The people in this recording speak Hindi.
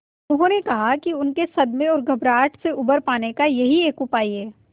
उन्होंने कहा कि उनके सदमे और घबराहट से उबर पाने का यही एक उपाय है